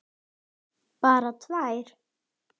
Bara tvær.